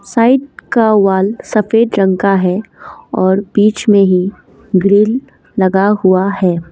Side का wall सफेद रंग का है और बीच में ही भीड़ लगा हुआ है।